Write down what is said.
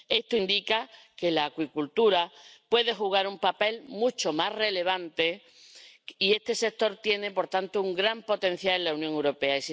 Esto indica que la acuicultura puede jugar un papel mucho más relevante, y este sector tiene, por tanto, un gran potencial en la Unión Europea.